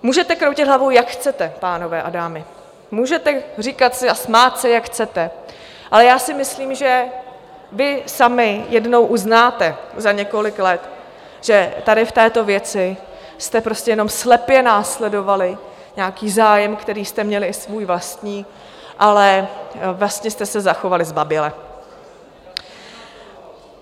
Můžete kroutit hlavou, jak chcete, pánové a dámy, můžete říkat si a smát se, jak chcete, ale já si myslím, že vy sami jednou uznáte za několik let, že tady v této věci jste prostě jenom slepě následovali nějaký zájem, který jste měli, i svůj vlastní, ale vlastně jste se zachovali zbaběle.